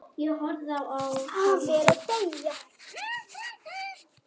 Afi er að deyja.